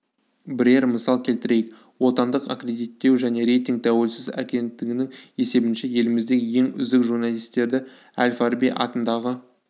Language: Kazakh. бірер мысал келтірейік отандық аккредиттеу және рейтинг тәуелсіз агенттігінің есебінше еліміздегі ең үздік журналистерді әл-фараби атындағы